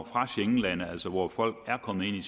fra schengenlande altså hvor folk er kommet ind i